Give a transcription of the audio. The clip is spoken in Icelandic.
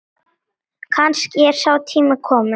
Kannski er sá tími kominn.